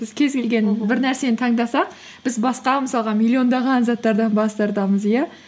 біз кез келген бір нәрсені таңдасақ біз басқа мысалға миллиондаған заттардан бас тартамыз иә